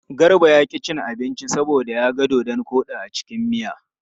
Garba ya ƙi cin abinci saboda ya ga dodon koɗi a cikin miya.